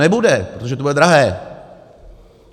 Nebude, protože to bude drahé.